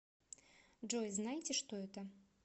джой знаете что это